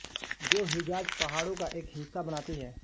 जो हिजाज पहाड़ों का एक हिस्सा बनाती है